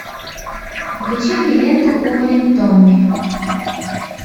включи мне ленту увалень томми